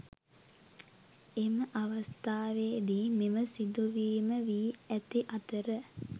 එම අවස්‌ථාවේදී මෙම සිදුවීම වී ඇති අතර